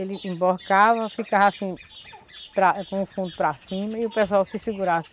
Ele emborcava, ficava assim, para, com o fundo para cima, e o pessoal se segurava.